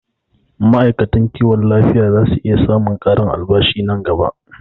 Ma'aikatan kiwon lafiya zasu iya samun ƙarin albashi a nan gaba